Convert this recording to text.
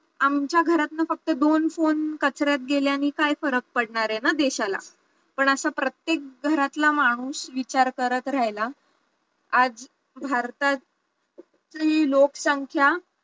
आमच्या घरातून फक्त दोन phone कचऱ्यात गेल्याने काय फरक पडणार आहे ना देशाला, पण असं प्रत्येक घरातला माणूस विचार करत राहिला आज भारतात तील लोकसंख्या